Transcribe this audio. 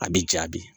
A bi jabi